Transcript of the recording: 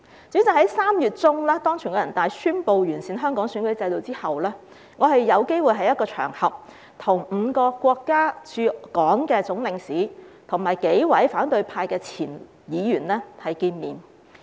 主席，在3月中，當全國人大宣布完善香港選舉制度後，我有機會在一個場合中，與5個國家駐港的總領事和數名反對派前議員會面。